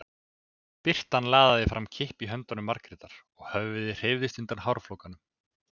Birtan laðaði fram kippi í höndum Margrétar og höfuðið hreyfðist undir hárflókanum.